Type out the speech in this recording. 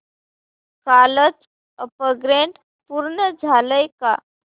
कालचं अपग्रेड पूर्ण झालंय का